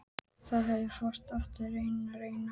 Það fór heldur ekki að rigna.